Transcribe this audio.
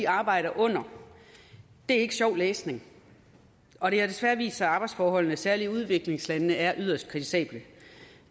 arbejder under det er ikke sjov læsning og det har desværre vist sig at arbejdsforholdene særlig i udviklingslandene er yderst kritisable